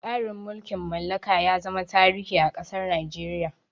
Tsarin mulkin mallaka ya zama tarihi a ƙasar Nigeria.